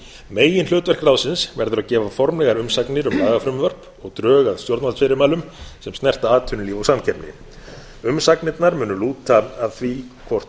meginhlutverk ráðsins verður að gefa formlegar umsagnir um lagafrumvörp og drög að stjórnvaldsfyrirmælum sem snerta atvinnulíf og samkeppni umsagnirnar munu lúta að því hvort